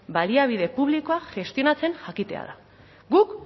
baliabide publikoak gestionatzen jakitea da guk